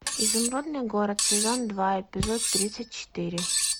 изумрудный город сезон два эпизод тридцать четыре